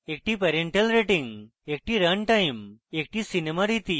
একটি parental rating একটি runtime একটি সিনেমা রীতি